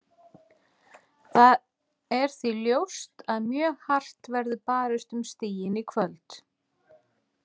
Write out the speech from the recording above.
Það er því ljóst að mjög hart verður barist um stigin í kvöld.